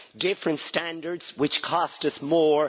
Different standards, which cost us more.